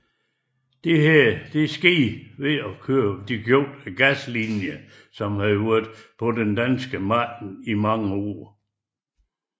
Dette skete ved at opkøbe Glaslinien som havde været på det danske marked i mange år